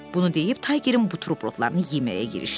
Bunu deyib taygerin buterbrodlarını yeməyə girişdi.